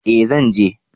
Eh zan je